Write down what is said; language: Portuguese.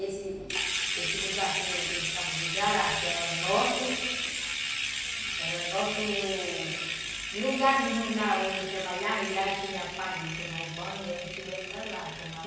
Esse esse lugar que eu chamo de jará, que era o nosso... Era o nosso... Lugar mesmo lá onde a gente trabalhava e lá tinha a parte de tomar o banho e a gente ia para lá tomar banho.